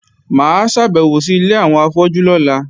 Mà á ṣàbẹ̀wò sí ilé àwọn afọ́jú lọ́la